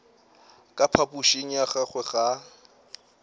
ka phapošing ya gagwe ga